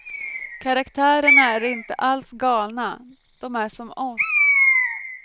Karaktärerna är inte alls galna, de är som oss.